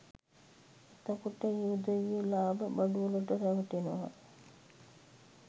එතකොට ඒ උදවිය ලාභ බඩුවලට රැවටෙනවා